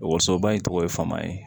Wasoba in tɔgɔ ye fama ye